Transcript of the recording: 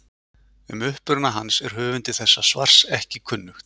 Um uppruna hans er höfundi þessa svars ekki kunnugt.